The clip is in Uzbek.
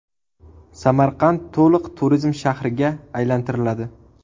Samarqand to‘liq turizm shahriga aylantiriladi.